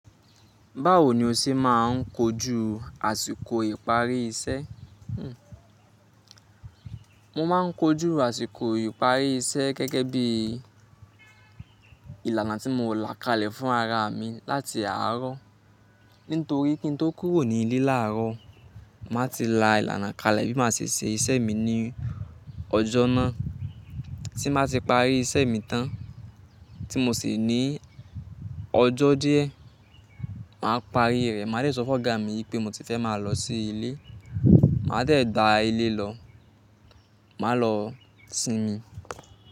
Báwo ni o ṣe máà ń kojú àsìkò ìparí iṣẹ́? Mo máa ń kojú àsìkò ìparí iṣẹ́ gẹ́gẹ́ bí ìlànà tí mo là kalẹ̀ fún ara mi láti àárọ̀. Nítorí kí n tó kúrò ní ilé láàárọ̀, mà ti lá ìlànà kalẹ̀ bí mà ṣe se iṣẹ́ mi ní ọjọ́ náà. Tí mà ti parí iṣẹ́ mi tán tí mo sì ní ọjọ́ díẹ̀, mà á parí rẹ̀. Mà á dẹ̀ sọ fún ọ̀gá mi wípé mo ti fẹ́ máa lọ sí ilé. Mà á dẹ̀ gba ilé lọ, mà á lọ sinmi.